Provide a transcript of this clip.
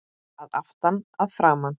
Að aftan, að framan?